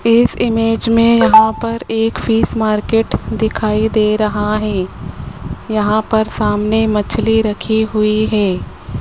इस इमेज में यहां पर एक फीस मार्केट दिखाई दे रहा है यहां पर सामने मछली रखी हुई है।